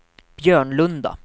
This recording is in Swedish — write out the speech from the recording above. Björnlunda